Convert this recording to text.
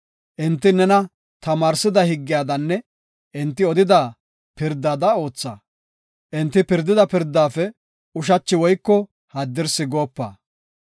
Enti nena tamaarsida higgiyadanne enti odida pirdada ootha; enti pirdida pirdaafe ushachi woyko haddirsi goopa.